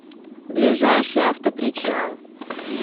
ближайший автопричал